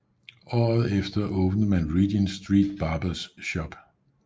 Året efter åbnede man Regent St Barbers Shop